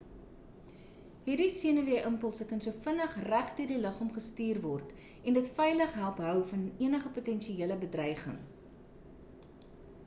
hierdie senuwee impulse kan so vinnig regdeur die liggaam gestuur word en dit veilig help hou van enige potensiële bedreiging